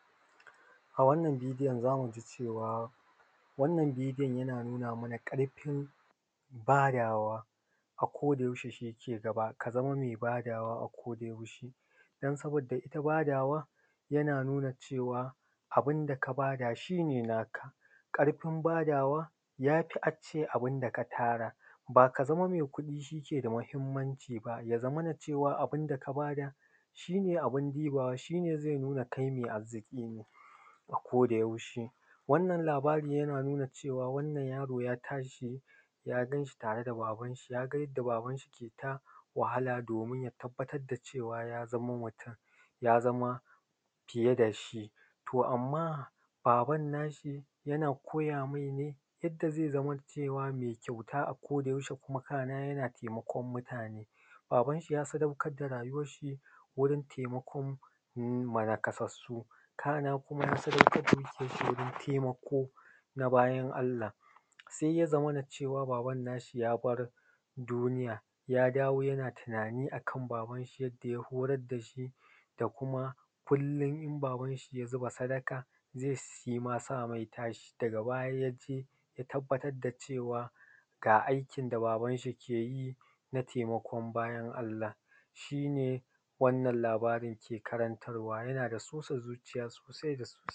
A wannan bidiyo za mu ga cewa wannan bidiyon yana nuna mana ƙarfin badawa ako da yaushe. Shi ke gaba, ka zama me badawa ako da yaushe, don saboda ita badawa yana nuna cewa abinda ka bada shine naka. Ƙarfin badawa ya fi a ce abinda ka tara. Ba ka zama mai kuɗi shi ke da mahimmanci ba. Ya zamana cewa abinda ka bada shine abinda zai nuna kai mai arziki ne ako da yaushe. Wannan labari yana nuna cewa wannan yaro ya tashi ya gan shi tare da baban shi. Ya ga yadda baban shi ke ta wahala domin ya tabbatar da cewa ya zamo mutum ko fiye da shi. To amma baban nashi yana koya mai ne yadda zai zama mai kyauta ako da yaushe kuma kana yana taimakon mutane. Baban shi ya sadaukar da rayuwan shi wurin taimakon naƙasassu kana kuma ya sadaukar da arziƙin shi ga taimako ga bayin Allah. Sai ya zamana cewa baban nashi ya bar duniya. Ya dawo yana tunani akan baban shi, yadda ya horar da shi, da kuma kollon in baban shi ya zuba sadaka, zai shi ma same ta. Shi da ga baya ya je ya tabbatar da cewa ga aikin da baban shi yake yi na taimakon bayin Allah. Shine wannan labarin ke karantar wa, yana da sosa zuciya sosai da sosai.